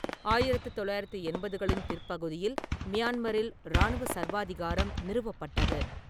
ஆயிரத்து தொள்ளாயிரத்து எண்பதுகளின் பிற்பகுதியில் மியான்மரில் இராணுவ சர்வாதிகாரம் நிறுவப்பட்டது.